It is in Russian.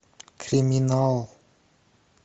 криминал